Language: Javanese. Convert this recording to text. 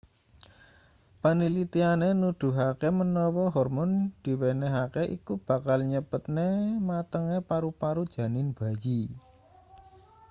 panlitiane nuduhake menawa hormon diwenehake iku bakal nyepetne matenge paru-paru janin bayi